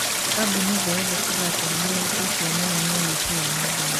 kambuni thĩ yothe kuga atĩ nĩmahutĩto mũno ni ũici wa nenda-inĩ